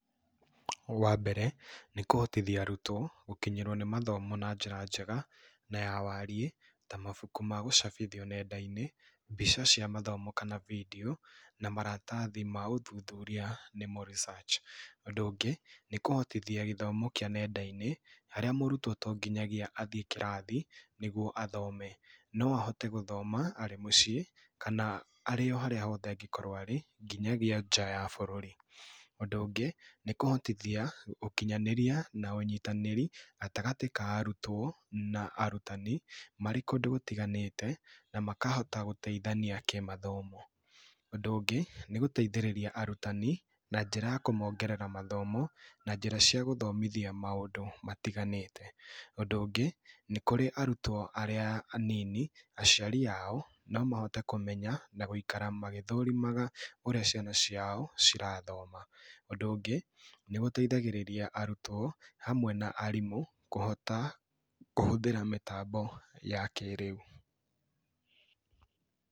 Wambere nĩkũhotithia arutwo gũkinyĩrwo nĩ mathomo na njĩra njega na yawariĩ ta mabuku ma gũcabithio nendainĩ, mbica cia mathomo kana bidio, maratathi ma ũthuthuria nĩmo research, ũndũ ũngĩ nĩkũhotithia gĩthomo kĩa nendainĩ harĩa mũrutwo tonginyagia athiĩ kĩrathi nĩguo athome, no ahote gũthoma arĩ mũciĩ kana arĩ oharĩa hothe angĩkorwo nginyagia nja ya bũrũri, ũndũ ũngĩ nĩkũhotithia gũkinyanĩria na ũnyitanĩri gatagatĩ ka arutwo na arutani marĩ kũndũ gũtiganĩte na makahota gũteithania kĩmathomo, ũndũ ũngĩ nĩ gũteithĩrĩria arutani na njĩra ya kũmongerera mathomo na njĩra cia gũthomithia maũndũ matiganĩte, ũndũ ũngĩ nĩkũrĩ arutwo arĩa anini aciari ao nomahote kũmenya na gũikara magĩthũrimaga ũrĩa ciana ciao cirathoma, ũndũ ũngĩ nĩgũteithagĩrĩria arutwo hamwe na arimũ kũhota kũhũthĩra mĩtambo ya kĩrĩu.